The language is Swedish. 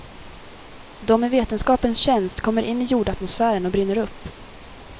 De i vetenskapens tjänst kommer in i jordatmosfären och brinner upp.